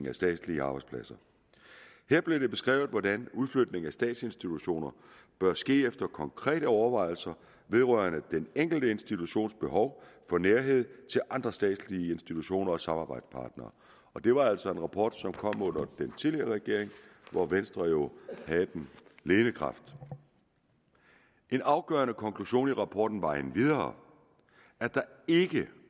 af statslige arbejdspladser her blev det beskrevet hvordan udflytning af statsinstitutioner bør ske efter konkrete overvejelser vedrørende den enkelte institutions behov for nærhed til andre statslige institutioner og samarbejdspartnere og det var altså en rapport som kom under den tidligere regering hvor venstre jo havde den ledende kraft en afgørende konklusion i rapporten var endvidere at der ikke